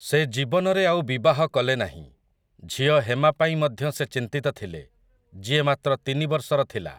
ସେ ଜୀବନରେ ଆଉ ବିବାହ କଲେନାହିଁ, ଝିଅ ହେମା ପାଇଁ ମଧ୍ୟ ସେ ଚିନ୍ତିତ ଥିଲେ, ଯିଏ ମାତ୍ର ତିନି ବର୍ଷର ଥିଲା ।